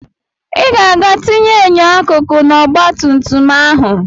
Ị ga-aga tinye enyo akụkụ n'ọgbatumtum ahụ!